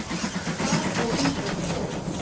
Hvar á hún þá skjól?